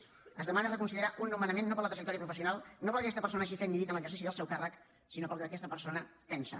s’hi demana reconsiderar un nomenament no per la trajectòria professional no pel que aquesta persona hagi fet ni dit en l’exercici del seu càrrec sinó pel que aquesta persona pensa